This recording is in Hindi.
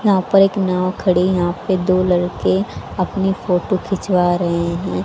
यहां पर एक नाव खड़ी है यहां पे दो लड़के अपनी फोटो खिंचवा रहे हैं।